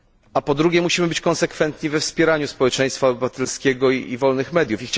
A po drugie, musimy być konsekwentni we wspieraniu społeczeństwa obywatelskiego i wolnych mediów.